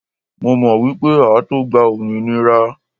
Mo mọ̀ wípé á tó gba òmìnira.